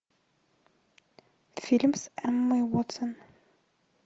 фильм с эммой уотсон